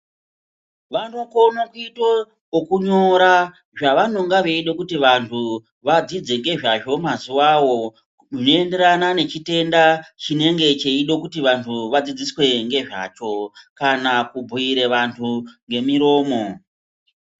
Vanokona kuite zvekunyora zvavanoda kuti vandu vadzidze mazuva woo zvinoenderana nechitenda chinenge chechida kuti vandu vadzidziswe ngezvacho kana kubhuyire vandu ngemiromo.